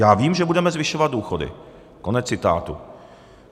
Já vím, že budeme zvyšovat důchody." Konec citátu.